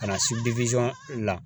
Ka na la